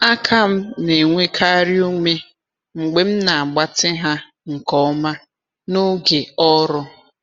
Aka m na-enwekarị ume mgbe m na-agbatị ha nke ọma n’oge ọrụ.